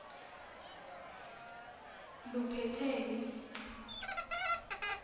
luphatheni